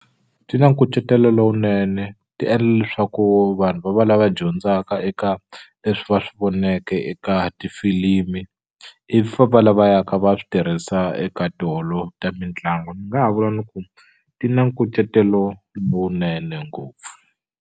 Ti na nkucetelo lowunene ti endla leswaku vanhu va va lava dyondzaka eka leswi va swi voneke eka tifilimi ivi famba lava yaka va swi tirhisa eka tiholo ta mitlangu ni nga ha vula ni ku ti na nkucetelo lowunene ngopfu.